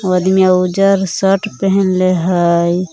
उ आदमिया उजर शर्ट पहनले हइ।